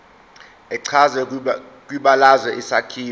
echazwe kwibalazwe isakhiwo